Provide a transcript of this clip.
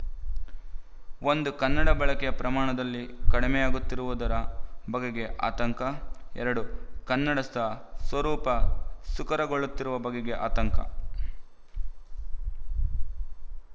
ಒಂದು ಕನ್ನಡದ ಬಳಕೆಯ ಪ್ರಮಾಣದಲ್ಲಿ ಕಡಿಮೆಯಾಗುತ್ತಿರುವುದ ಬಗೆಗೆ ಆತಂಕ ಎರಡು ಕನ್ನಡದ ಸ್ವರೂಪ ಸಂಕರಗೊಳ್ಳುತ್ತಿರುವ ಬಗೆಗೆ ಆತಂಕ